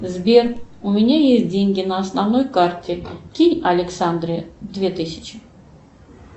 сбер у меня есть деньги на основной карте кинь александре две тысячи